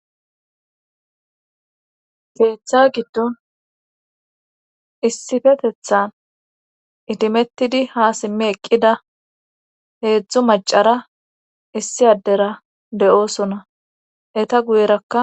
teeththa giddon issifetethan itimettidi ha simme eqqida heedzdzu macara issi addera de7oosona eta guyerakka